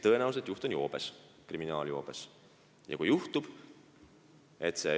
Tõenäoliselt on selle juht kriminaalses joobes.